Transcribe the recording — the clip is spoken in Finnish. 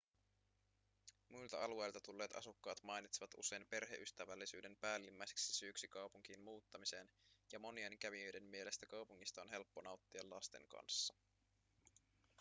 muilta alueilta tulleet asukkaat mainitsevat usein perheystävällisyyden päällimmäiseksi syyksi kaupunkiin muuttamiseen ja monien kävijöiden mielestä kaupungista on helppo nauttia lasten kanssa